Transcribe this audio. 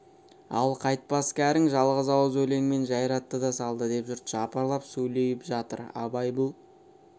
ал қайтпас кәрің жалғыз ауыз өлеңмен жайратты да салды деп жұрт жапырлап сөйлеп жатыр абай бұл